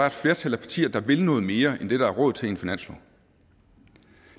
et flertal af partier der vil noget mere end det der er råd til i en finanslov